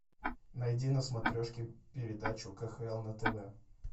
найди на смотрешке передачу кхл на тв